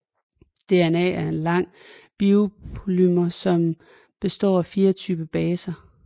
DNA er en lang biopolymer som består af fire typer af baser